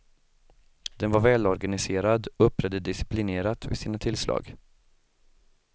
Den var välorganiserad och uppträdde disciplinerat vid sina tillslag.